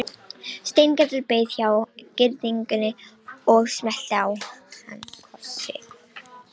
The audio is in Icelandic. Steingerður beið hjá girðingunni og smellti á hann kossi.